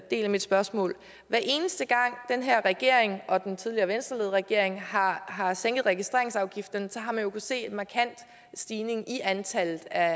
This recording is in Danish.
del af mit spørgsmål hver eneste gang den her regering og den tidligere venstreledede regering har har sænket registreringsafgifterne har man kunnet se en markant stigning i antallet af